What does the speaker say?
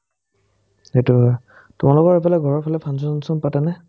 সেটো হয় তোমালোকৰ সেইফালে ঘৰৰফালে function চাঞ্চন পাতে নে ?